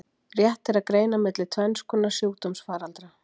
Rétt er að greina milli tvenns konar sjúkdómsfaraldra.